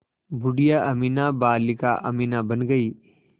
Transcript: बूढ़िया अमीना बालिका अमीना बन गईं